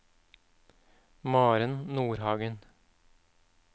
Maren Nordhagen